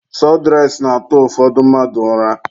Sọdụres na-atụ ụfọdụ mmadụ ụra.